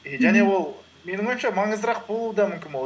и және ол менің ойымша маңыздырақ болуы да мүмкін